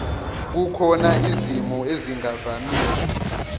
kukhona izimo ezingavamile